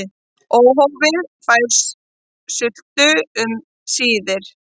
Óhófið fær sult um síðir.